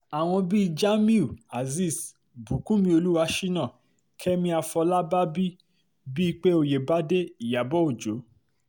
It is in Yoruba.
àwọn bíi jamiu azeez bùkúnmí olùwàṣínà kẹ́mi àfọlábàbí bípé ọ̀yẹ́bádé ìyàbọ̀ òjó